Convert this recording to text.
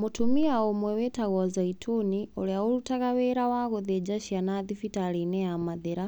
Mũtumia ũmwe wĩtagwo Zaituni, ũrĩa ũrutaga wĩra wa gũthenja ciana thibitarĩ-inĩ ya mathira,